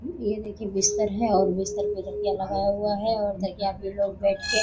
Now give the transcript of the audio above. ये देखिए बिस्तर है और बिस्तर पे तकिया लगा हुआ है और तकिया पे लोग बैठ के --